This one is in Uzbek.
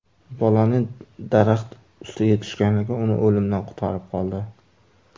Bolaning daraxt ustiga tushganligi uni o‘limdan qutqarib qoldi.